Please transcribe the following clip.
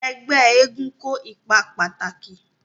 Ẹgbẹ́ eégún kó ipa pàtàkì